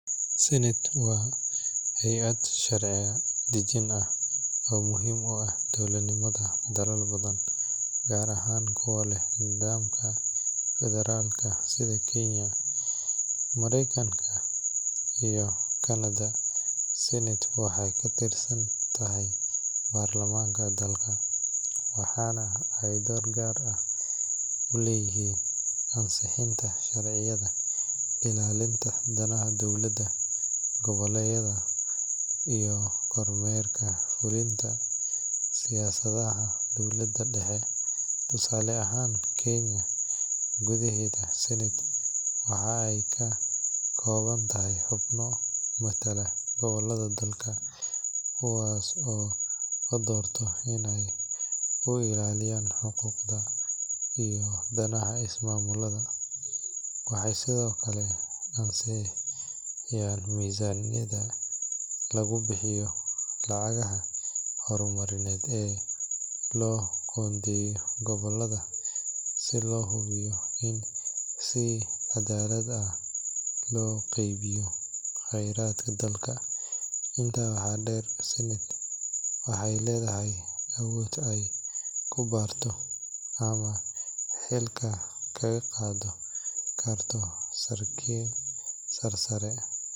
Senate waa hay’ad sharci dejin ah oo muhiim u ah dowladnimada dalal badan, gaar ahaan kuwa leh nidaamka federaalka sida Kenya, Mareykanka, iyo Kanada. Senate waxay ka tirsan tahay baarlamaanka dalka, waxaana ay door gaar ah ku leedahay ansixinta sharciyada, ilaalinta danaha dowlad goboleedyada, iyo kormeerka fulinta siyaasadaha dowladda dhexe. Tusaale ahaan, Kenya gudaheeda, Senate waxa ay ka kooban tahay xubno matala gobollada dalka, kuwaas oo la doorto si ay u ilaaliyaan xuquuqda iyo danaha ismaamullada. Waxay sidoo kale ansixisaa miisaaniyadda lagu bixiyo lacagaha horumarineed ee loo qoondeeyo gobollada si loo hubiyo in si cadaalad ah loo qeybiyo khayraadka dalka. Intaa waxaa dheer, Senate waxay leedahay awood ay ku baarto ama xilka kaga qaadi karto saraakiil sarsare .